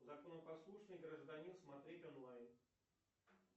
законопослушный гражданин смотреть онлайн